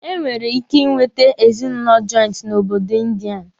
E nwere ike ị nweta ezinụlọ jọịntị n'obodo Ịndịa.